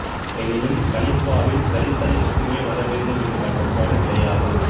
எனினும் கலிப்பாவில் கலித்தளை மட்டுமே வரவேண்டும் என்ற கட்டுப்பாடு கிடையாது